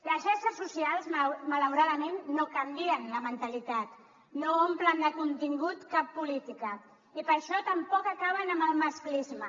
les xarxes socials malauradament no canvien la mentalitat no omplen de contingut cap política i per això tampoc acaben amb el masclisme